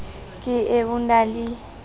ke e o na le